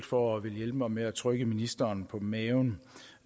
for at ville hjælpe mig med at trykke ministeren på maven